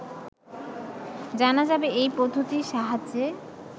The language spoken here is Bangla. জানা যাবে এই পদ্ধতির সাহায্যে